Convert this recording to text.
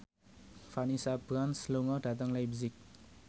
Vanessa Branch lunga dhateng leipzig